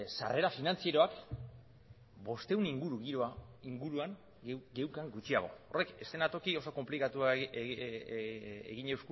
sarrera finantzieroak bostehun inguru geneukan gutxiago horrek eszenatoki oso konplikatua